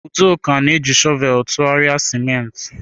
Udoka na-eji shọvel tụgharịa ciment.